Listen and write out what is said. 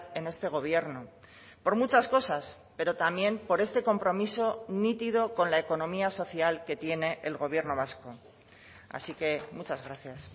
en este gobierno por muchas cosas pero también por este compromiso nítido con la economía social que tiene el gobierno vasco así que muchas gracias